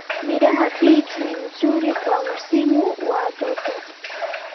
Miraha peach ni mzuri kwa msimu wa joto.